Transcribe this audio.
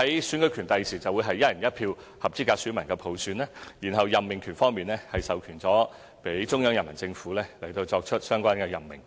選舉權方面，將來會由合資格選民以"一人一票"普選；在任命權方面，則授權予中央人民政府作出相關任命。